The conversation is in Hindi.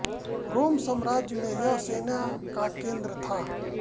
रोम साम्राज्य में यह सेना का केंद्र था